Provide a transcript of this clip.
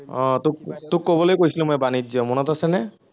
আহ তোক তোক কবলৈ কৈছিলো মই বাণিজ্য়, মনত আছেনে?